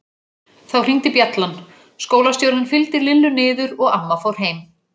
Þá hringdi bjallan, skólastjórinn fylgdi Lillu niður og amma fór heim.